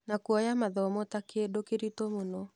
Na kuoya mathomo ta-kĩndũ kĩritũ mũno.